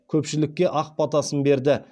көпшілікке ақ батасын берді